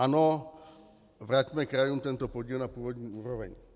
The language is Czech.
Ano, vraťme krajům tento podíl na původní úroveň.